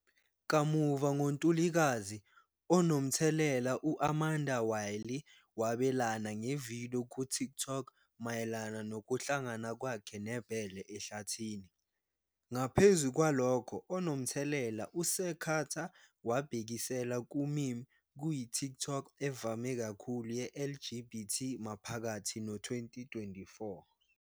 Kamuva ngo-Ntulikazi, onomthelela u-Amanda Wylie wabelana nge-video ku-TikTok mayelana nokuhlangana kwakhe nebhele ehlathini. Ngaphezu kwalokho, onomthelela uSir Carter wabhekisela ku-meme kuyi-TikTok evame kakhulu ye-LGBT maphakathi no-2024.